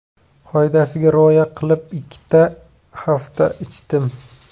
Qoidasiga rioya qilib, ikki hafta ichdim.